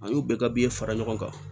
An y'o bɛɛ fara ɲɔgɔn kan